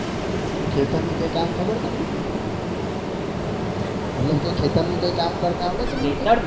ખેતર નું કામ ખબર તમને મતલબકે ખેતરનું કામ કરતા આવડે છે.